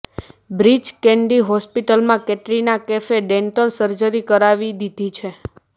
breach Candy હોસ્પિટલમાં કેટરીના કૈફે dental surgery કરાવી દીધી છે